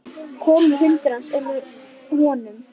Kolur, hundurinn hans, er með honum.